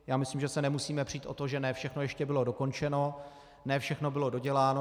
Já myslím, že se nemusíme přít o to, že ne všechno ještě bylo dokončeno, ne všechno bylo doděláno.